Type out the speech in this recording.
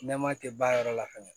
Nɛma tɛ ban yɔrɔ la fɛnɛ